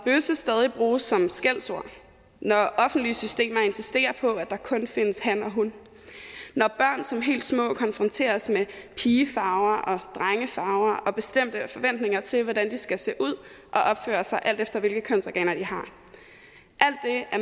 stadig bruges som et skældsord ord når offentlige systemer insisterer på at der kunne findes han og hunkøn når børn som helt små konfronteres med pigefarver og drengefarver og med bestemte forventninger til hvordan de skal se ud og opføre sig alt efter hvilket kønsorganer de har